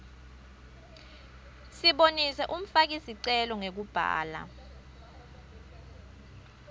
sibonise umfakisicelo ngekubhala